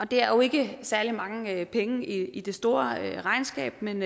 det er jo ikke særlig mange penge i det store regnskab men